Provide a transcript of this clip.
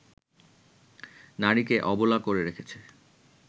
নারীকে অবলা করে রেখেছে